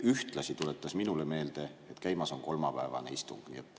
Ühtlasi tuletas ta minule meelde, et käimas on kolmapäevane istung.